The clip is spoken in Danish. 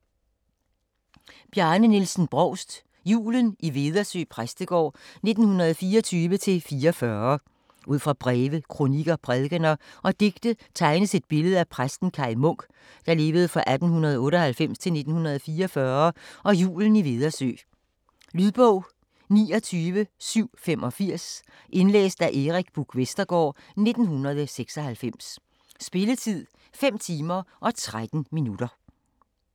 Brovst, Bjarne Nielsen: Julen i Vedersø Præstegård 1924-1944 Ud fra breve, kronikker, prædikener og digte tegnes et billede af præsten Kaj Munk (1898-1944) og julen i Vedersø. Lydbog 29785 Indlæst af Erik Buch Vestergaard, 1996. Spilletid: 5 timer, 13 minutter.